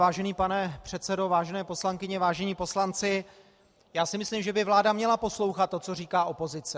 Vážený pane předsedo, vážené poslankyně, vážení poslanci, já si myslím, že by vláda měla poslouchat to, co říká opozice.